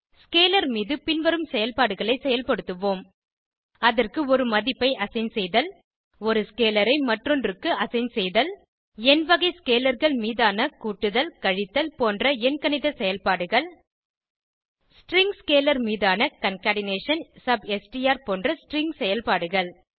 scalar மீது பின்வரும் செயல்பாடுகளை செயல்படுத்துவோம் அதற்கு ஒரு மதிப்பை அசைன் செய்தல் ஒரு ஸ்கேலர் ஐ மற்றொன்றுக்கு அசைன் செய்தல் எண் வகை scalarகள் மீதான கூட்டுதல் கழித்தல் போன்ற எண்கணித செயல்பாடுகள் ஸ்ட்ரிங் ஸ்கேலர் மீதான கன்கேட்னேஷன் சப்ஸ்ட்ர் போன்ற ஸ்ட்ரிங் செயல்பாடுகள்